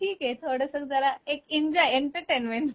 ठीक ए थोडसक जरा एक इन्जॉय एंटरटेनमेंट